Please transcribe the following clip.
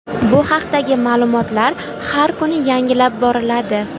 Bu haqdagi ma’lumotlar har kuni yangilanib boriladi.